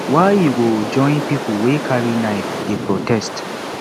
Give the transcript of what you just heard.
why you go join pipu wey carry knife dey protest